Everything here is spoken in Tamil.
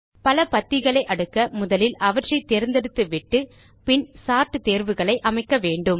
பல பத்திகளை அடுக்க முதலில் அவற்றை தேர்ந்தெடுத்துவிட்டு பின் சோர்ட் தேர்வுகளை அமைக்க வேண்டும்